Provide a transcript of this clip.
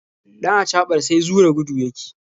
Ɗan acaɓar sai zura gudu yake.